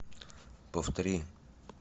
повтори